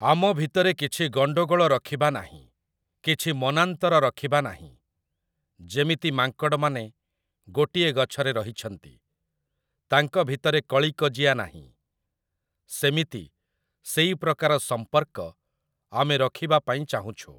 ଆମ ଭିତରେ କିଛି ଗଣ୍ଡଗୋଳ ରଖିବା ନାହିଁ, କିଛି ମନାନ୍ତର ରଖିବା ନାହିଁ, ଯେମିତି ମାଙ୍କଡ଼ମାନେ ଗୋଟିଏ ଗଛରେ ରହିଛନ୍ତି, ତାଙ୍କ ଭିତରେ କଳି କଜିଆ ନାହିଁ, ସେମିତି ସେଇ ପ୍ରକାର ସମ୍ପର୍କ ଆମେ ରଖିବା ପାଇଁ ଚାହୁଁଛୁ ।